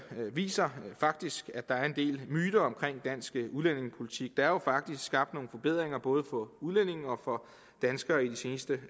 viser faktisk at der er en del myter om dansk udlændingepolitik der er jo faktisk skabt nogle forbedringer både for udlændinge og for danskere i de seneste